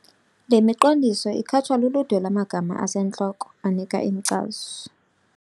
Le miqondiso ikhatshwa luludwe lwamagama asentloko anika inkcazo.